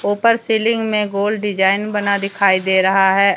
ऊपर सीलिंग में gold design बना दिखाई दे रहा है।